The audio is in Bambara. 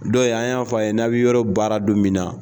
Dɔ in an y'a fɔ a ye n'aw bi yɔrɔ baara don min na